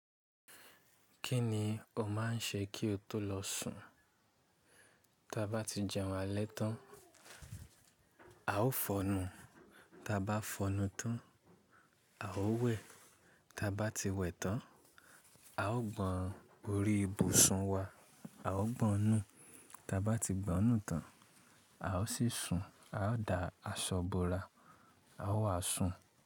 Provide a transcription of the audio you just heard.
Kí ni o máà ń ṣe kí o tó lọ sùn? Taa bá ti jẹun alẹ́ tán, a ó fọnnu, ta bá fọnnu tán, a ó wẹ̀, ta bá ti wẹ̀ tán, a ó gbọ́n orí ibùsùn wa, a ó gbọnù, ta bá ti gbọnù tán, a ó sì sùn, a ó da aṣọ bora, a ó wàásùn.